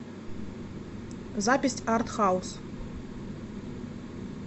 запись арт хаус